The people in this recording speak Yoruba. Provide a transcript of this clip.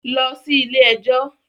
Lọ sí ilé ẹjọ́